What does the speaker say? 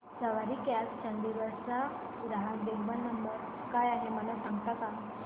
सवारी cabs Chandigarh चा ग्राहक देखभाल नंबर काय आहे मला सांगता का